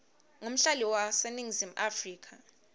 ngumhlali waseningizimu afrika